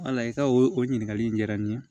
Wala i ka o ɲininkali in diyara n ye